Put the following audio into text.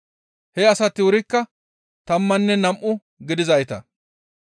He asati wurikka tammanne nam7u gidizayta.